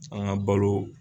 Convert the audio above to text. An ka balo.